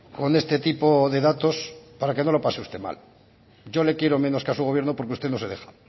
con este tipo de datos para que no lo pase usted mal yo le quiero menos que a su gobierno porque usted no se deja